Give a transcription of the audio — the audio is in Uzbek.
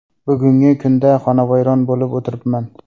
Bugungi kunda xonavayron bo‘lib o‘tiribman.